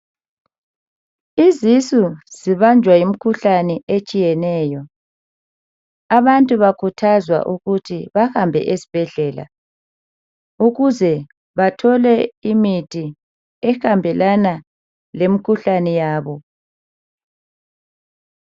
Izisu zibanjwa yimkhuhlane etshiyeneyo. Abantu bakuthazwa ukuthi bahambe esibhedlela ukuze bathole imithi ehambelana lemikhuhlane yabo.